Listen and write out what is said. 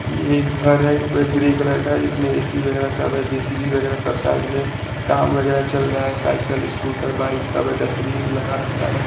ये एक घर है पूरा ग्रे कलर का है इसमे ए_सी वगेरा सब है जे_सी_बी वगेरा सब साइड में काम वगेरा चल रहा है साइकल स्कूटर बाइक सब है डस्टबिन भी लगा रखा है।